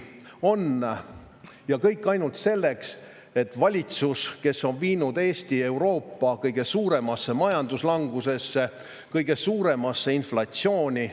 Kõike ainult seepärast, et valitsus on viinud Eesti Euroopa kõige suuremasse majanduslangusesse, kõige suuremasse inflatsiooni.